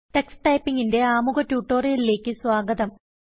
Tux Typingന്റെ ആമുഖ ട്യൂട്ടോറിയലിലേക്ക് സ്വാഗതം